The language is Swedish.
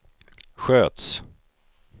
sköts